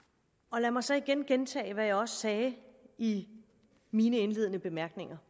lad mig så igen gentage hvad jeg også sagde i mine indledende bemærkninger